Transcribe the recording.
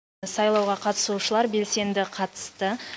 сайлауға қатысушылар белсенді қатысты